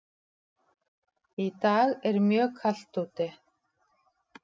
Í dag er mjög kalt úti.